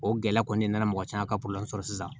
O gɛlɛya kɔni nana mɔgɔ caman ka sɔrɔ sisan